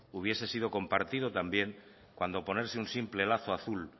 hubiese sido compartido también cuando ponerse un simple lazo azul